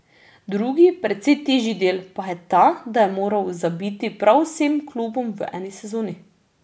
Drugi, precej težji del, pa je ta, da je moral zabiti prav vsem klubom v eni sezoni.